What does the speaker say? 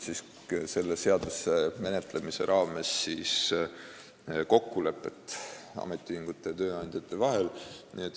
Selle seaduse menetlemise raames otsiti ametiühingute ja tööandjate kokkulepet.